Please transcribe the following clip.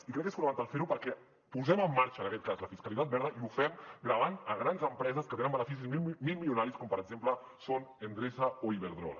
i crec que és fonamental fer ho perquè posem en marxa en aquest cas la fiscalitat verda i ho fem gravant grans empreses que tenen beneficis mil milionaris com per exemple són endesa o iberdrola